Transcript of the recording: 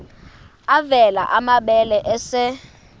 avela amabele esel